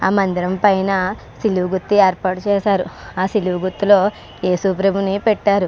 ఆ మందిరం పైన సిలువ గుర్తు ఏర్పాటు చేసారు. ఆ సిలువ గుర్తు లో యేసుప్రభు ని పెట్టారు.